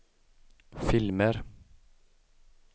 filmer